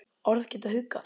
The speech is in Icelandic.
Orð geta huggað.